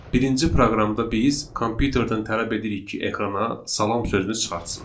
Birinci proqramda biz kompüterdən tələb edirik ki, ekrana salam sözünü çıxartsın.